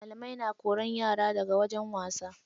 Malamai na kora yara daga wajen wasa.